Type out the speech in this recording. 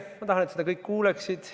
Ma tahan, et kõik seda kuuleksid.